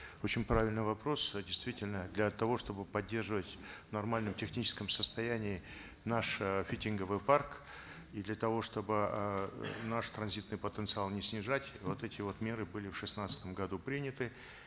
очень правильный вопрос э действительно для того чтобы поддерживать в нормальном техническом состоянии наш э фитинговый парк и для того чтобы э наш транзитный потенциал не снижать вот эти вот меры были в шестнадцатом году приняты